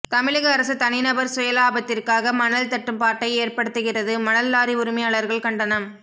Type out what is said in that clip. தமிழக அரசு தனிநபர் சுயலாபத்திற்காக மணல் தட்டுப்பாட்டை ஏற்படுத்துகிறதுமணல் லாரி உரிமையாளர்கள் கண்டனம்